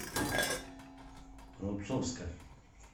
рубцовска